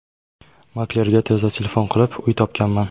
Maklerga tezda telefon qilib, uy topganman.